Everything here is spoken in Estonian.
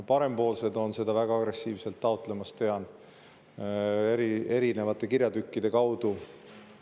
Parempoolsed on seda väga agressiivselt taotlemas, tean seda erinevate kirjatükkide kaudu.